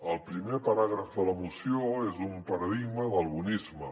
el primer paràgraf de la moció és un paradigma del bonisme